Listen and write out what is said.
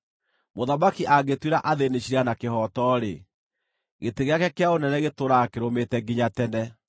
Mũthamaki angĩtuĩra athĩĩni ciira na kĩhooto-rĩ, gĩtĩ gĩake kĩa ũnene gĩtũũraga kĩrũmĩte nginya tene.